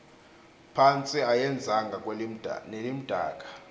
phantsi ayenzanga nelimdaka